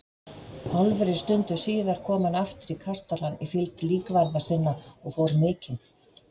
Hálfri stundu síðar kom hann aftur í kastalann í fylgd lífvarða sinna og fór mikinn.